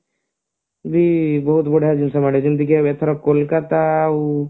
ହଁ ବହୁତ ବଢିଆ ଜିନିଷ ମିଳେ ଯେମତିକି ତାଙ୍କର କୋଲକତା ଆଉ